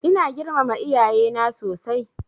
Ina girmama iyaye na sosai.